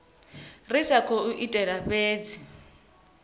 ri sa khou itela fhedzi